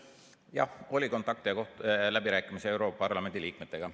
Jah, oli kontakte ja läbirääkimisi europarlamendi liikmetega.